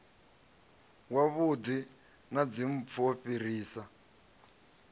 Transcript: wavhuḓi na dzimpfu u fhirisa